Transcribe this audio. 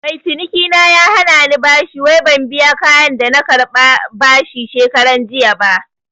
Mai cinikina ya hanani bashi wai ban biya kayan da na karɓa bashi shekaranjiya ba